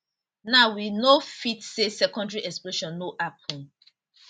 now we no fit say secondary explosion no happun